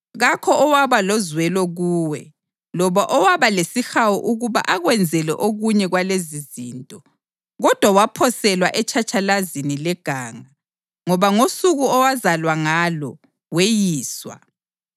Kakho owaba lozwelo kuwe loba owaba lesihawu ukuba akwenzele okunye kwalezizinto. Kodwa waphoselwa etshatshalazini leganga, ngoba ngosuku owazalwa ngalo weyiswa.